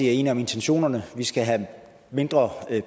er enige om intentionerne vi skal have mindre